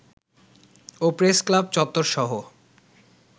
O press club চত্বরসহ